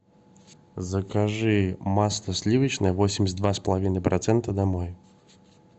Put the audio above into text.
закажи масло сливочное восемьдесят два с половиной процента домой